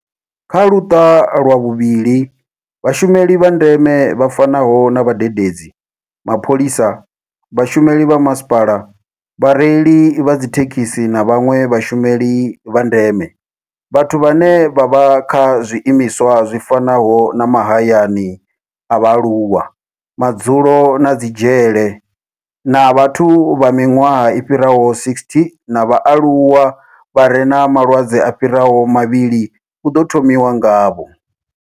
Kha Luṱa lwa vhuvhili, Vhashumeli vha ndeme vha fanaho na vhadededzi, mapholisa, vhashumeli vha masipala, vhareili vha dzithekhisi na vhanwe vhashumeli vha ndeme, vhathu vhane vha vha kha zwiimiswa zwi fanaho na mahayani a vhaaluwa, madzulo na dzi dzhele, na vhathu vha miṅwaha i fhiraho 60 na vhaaluwa vha re na malwadze a fhiraho mavhili hu ḓo thomiwa ngavho.